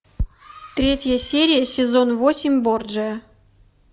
третья серия сезон восемь борджиа